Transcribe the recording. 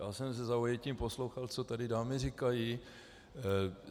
Já jsem se zaujetím poslouchal, co tady dámy říkají.